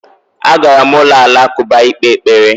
agara m ulo alakụba ikpe ekpere